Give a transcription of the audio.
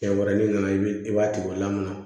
Kɛ wɛrɛ ni nana i b'i b'a tigi o la mun na